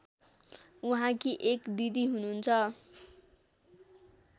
उहाँकी एक दिदी हुनुहुन्छ